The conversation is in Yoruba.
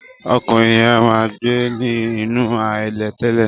Ọkùnrin yẹn máa ń gbé ní nínú ahéré tẹ́lẹ̀.